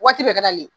Waati bɛɛ ka d'ale